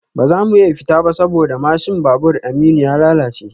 Ba za mu iya fita ba saboda mashin babur Aminu ya lalace